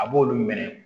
A b'olu minɛ